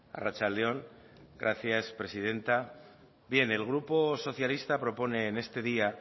arratsalde on gracias presidenta bien el grupo socialista propone en este día